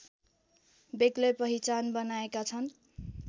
बेग्लै पहिचान बनाएका छन्